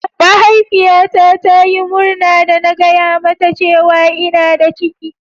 Mahaifiyata ta Yi murna da na gaya mata cewa ina da ciki.